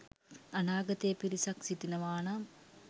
අනාගතයේ පිරිසක් සිටිනවානම්